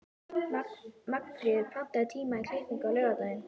Magnfríður, pantaðu tíma í klippingu á laugardaginn.